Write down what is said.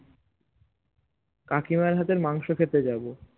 কাকিমার হাতের মাংসো খেতে যাবো